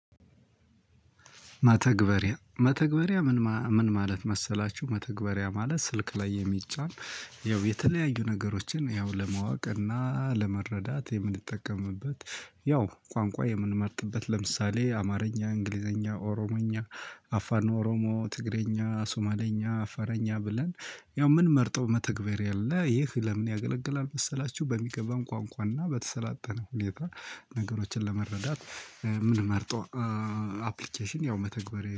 መተግበሪያ መተግበሪያ ምን ማለት መሰላችሁ መተግበሪያ ማለት ስልክ ላይ የሚጫን ያው የተለያዩ ነገሮችን ያው ለማወቅ እና ለመረዳት የምንጠቀምበት ያው ቋንቋ የምንመርጥበት ለምሳሌ አማርኛ እንግሊዘኛ ኦሮሞኛ አፋን ኦሮሞ ትግሬኛ ሱማሌኛ አፋረኛ ብለን ያው ምን መርጠው መተግበር አለ ይህ ለምን ያገለግላል መሰላችሁ በሚገባን ቋንቋና በተሰላጠነ ሁኔታ ነገሮችን ለመረዳት። ምን መርጠው አፕሊኬሽን ያው መተግበሪያ